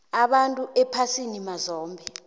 abantu ephasini mazombe